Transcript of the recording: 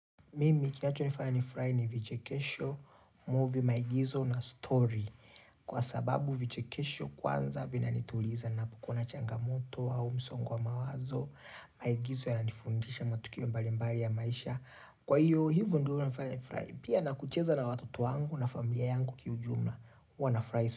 Mimi kinacho nifanya ni furahi ni vichekesho, movie maigizo na stori Kwa sababu vichekesho kwanza vina nituliza ninapokuwa na changamoto au msongo wa mawazo Maigizo yana nifundisha matukio mbalimbali ya maisha Kwa hiyo hivyo huwa huninya ni furahi pia na kucheza na watoto wangu na familia yangu kiujumla huwana furahi sana.